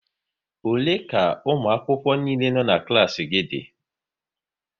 Ole ka ụmụakwụkwọ niile no̼ na klaasị gị dị?